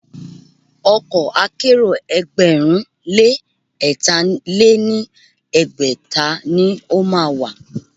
Ọkọ̀ akẹ́rò ẹgbẹ̀rún lé ẹ̀tà lé ní ẹgbẹ́ta ni o má a wà.